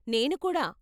నేను కూడా .